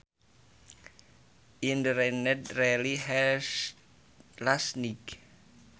It rained really hard last night